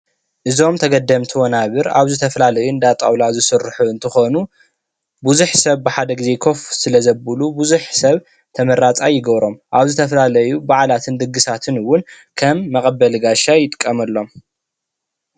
እዞም ተገደምቲ ወናብር ኣብ ዝተፈላለዩ እንዳ ጣውላ ዝስርሑ እንትኮኑ ብዙሕ ሰብ ብሓደ ግዜ ኮፍ ስለ ዘብሉ ብዙሕ ሰብ ተመራፃይ ይገብሮ፣ ኣብ ዝተፈላለዩ በዓላትን ድግሳት እውን ከም መቀበሊ ጋሻ ይጥቀመሎም፡፡